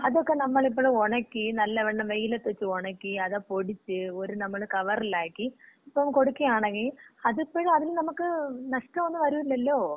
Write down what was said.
അതക്ക നമ്മളിപ്പഴ് ഒണക്കി, നല്ലവണം വെയിലത്ത് വച്ച് ഉണക്കി അതിന പൊടിച്ച് ഒരു കവറിലാക്കി ഇപ്പ കൊടുക്കുകയാണങ്കി അതിപ്പഴ് അതിന് നമുക്ക് ഇപ്പോ നഷ്ടോന്നും വരൂലല്ലോ?